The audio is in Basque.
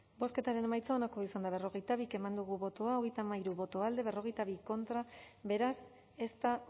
bozketaren emaitza onako izan da hirurogeita hamabost eman dugu bozka hogeita hamairu boto alde cuarenta y dos contra beraz ez da